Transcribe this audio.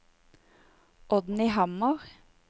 Oddny Hammer